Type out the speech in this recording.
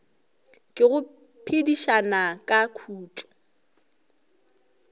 ke go phedišana ka khutšo